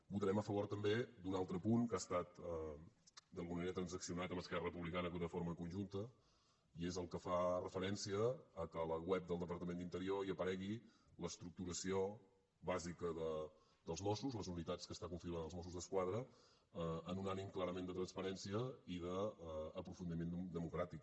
votarem a favor també d’un altre punt que ha estat d’alguna manera transaccionat amb esquerra republicana de forma conjunta i és el que fa referència al fet que a la web del departament d’interior hi aparegui l’estructuració bàsica dels mossos les unitats que configuren els mossos d’esquadra amb un ànim clarament de transparència i d’aprofundiment democràtic